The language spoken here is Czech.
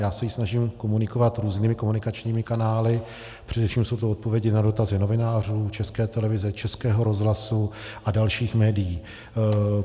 Já se ji snažím komunikovat různými komunikačními kanály, především jsou to odpovědi na dotazy novinářů, České televize, Českého rozhlasu a dalších médií.